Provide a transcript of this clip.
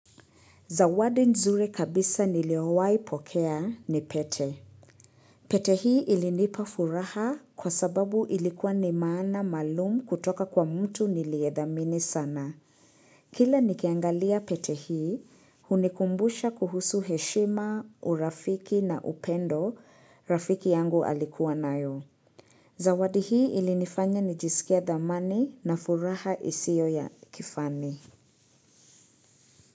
Zawadi nzure kabisa niliowai pokea, ni pete. Pete hii ilinipa furaha kwa sababu ilikuwa ni maana maalum kutoka kwa mtu niliedhamini sana. Kila nikiangalia pete hii, hunikumbusha kuhusu heshima, urafiki na upendo, rafiki yangu alikuwa nayo. Zawadi hii ilinifanya nijisikie dhamani na furaha isio ya kifani.